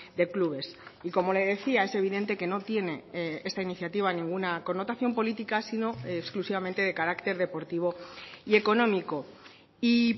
de clubes y como le decía es evidente que no tiene esta iniciativa ninguna connotación política sino exclusivamente de carácter deportivo y económico y